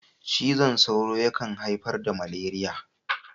Cizon sauro yakan haifar da maleriya.